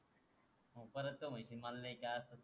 मंग परत म्हणशील मला नाही जायच